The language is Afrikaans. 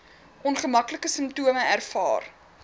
ongemaklike simptome ervaar